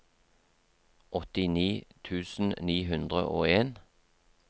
åttini tusen ni hundre og en